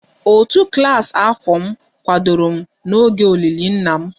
Òtù klas afọ m kwadoro m n'oge olili nna m